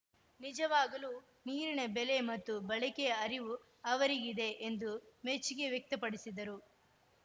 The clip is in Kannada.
ನಿಜವಾಗಲೂ ನೀರಿನ ಬೆಲೆ ಮತ್ತು ಬಳಕೆಯ ಅರಿವು ಅವರಿಗಿದೆ ಎಂದು ಮೆಚ್ಚುಗೆ ವ್ಯಕ್ತಪಡಿಸಿದರು